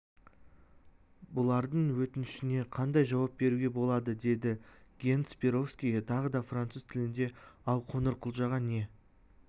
бұлардың өтінішіне қандай жауап беруге болады деді генс перовскийге тағы да француз тілінде ал қоңырқұлжаға не